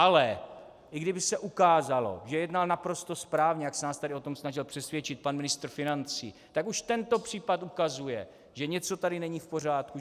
Ale i kdyby se ukázalo, že jednal naprosto správně, jak se nás tady o tom snažil přesvědčit pan ministr financí, tak už tento případ ukazuje, že něco tady není v pořádku.